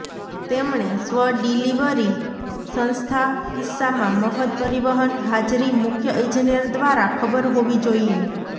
તેમણે સ્વ ડિલિવરી સંસ્થા કિસ્સામાં મફત પરિવહન હાજરી મુખ્ય ઈજનેર દ્વારા ખબર હોવી જોઇએ